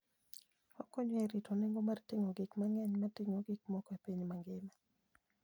Okonyo e rito nengo mar ting'o gik mang'eny mag ting'o gik moko e piny mangima.